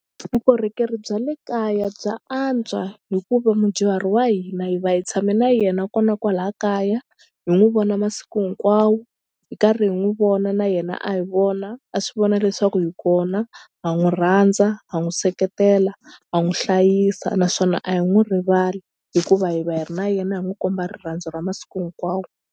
Vukorhokeri bya le kaya bya antswa hikuva mudyuhari wa hina hi va hi tshame na yena nakona kwala kaya hi n'wu vona masiku hinkwawo hi karhi hi n'wi vona na yena a hi vona a swi vona leswaku hi kona ha n'wi rhandza ha n'wi seketela ha n'wi hlayisa naswona a hi n'wi rivali hikuva hi va hi ri na yena hi n'wi komba rirhandzu ra masiku hinkwawo.